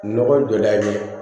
Nɔgɔ donna ɲɛ